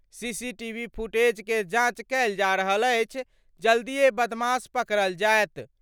CCTV footage के जाँच कएल जा रहल अछि. जल्दिये बदमाश पकड़ल जायत।